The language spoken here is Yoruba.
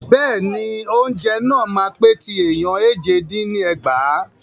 Bẹ́ẹ̀ni, oúnjẹ náà máa pè ti ẹ̀ẹ̀yàn éje dín ní ẹgbàá.